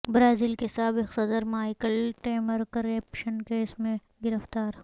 Brazil کے سابق صدر مائیکل ٹیمر کرپشن کیس میں گرفتار